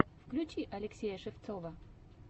включи алексея шевцова